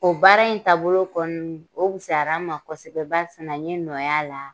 O baara in taabolo kɔni, o fisayala n ma kosɛbɛ ba sina n ye nɔ y'a la